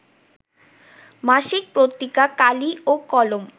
মাসিক পত্রিকা কালি ও কলম